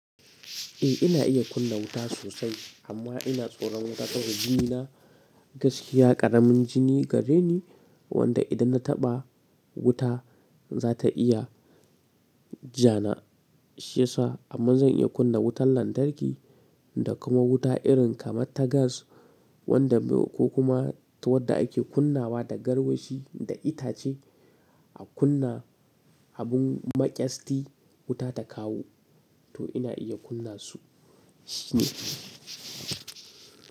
Eh ina iya kunna wuta sosai amma ina tsoron wuta saboda jini na gaskiya ƙaramin jini gare ni wanda idan na taɓa wuta za ta iya janashi sa amma zan iya kunna wutar lantarki da kuma wuta irin kamar ta gas wanda ko kuma ta wadda ake kunnawa da garwashi da itace a kunna abun maƙyasti wuta ta kawo to ina iya kunna su shine.